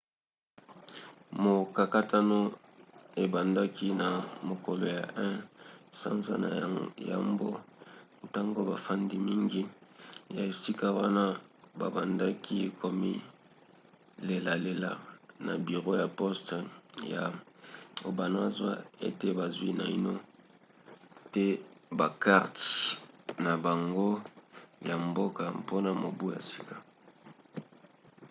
mokakatano ebandaki na mokolo ya 1 sanza ya yambo ntango bafandi mingi ya esika wana babandaki komilelalela na biro ya poste ya obanazawa ete bazwi naino te bakarte na bango ya mboka mpona mobu ya sika